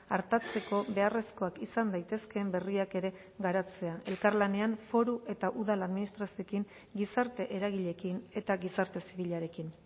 artatzeko beharrezkoak izan daitezkeen berriak ere garatzea elkarlanean foru eta udal administrazioekin gizarte eragileekin eta gizarte zibilarekin